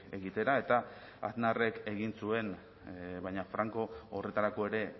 egitera eta aznarrek egin zuen baina franco horretarako ere